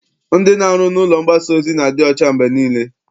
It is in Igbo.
Ndị na-arụ n'ụlọ mgbasa ozi na-adị ọcha mgbe niile.